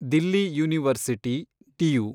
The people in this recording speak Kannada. Delhi university , DU